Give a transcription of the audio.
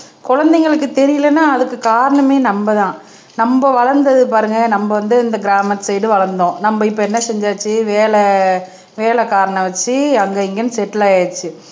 குழந்தைங்களுக்கு தெரியலைன்னா அதுக்கு காரணமே நம்மதான் நம்ம வளர்ந்தது பாருங்க நம்ம வந்து இந்த கிராமத்து சைடு வளர்ந்தோம் நம்ம இப்ப என்ன செஞ்சாச்சு வேலை வேலைக்காரனை வச்சு அங்க இங்கன்னு செட்டில் ஆயிருச்சு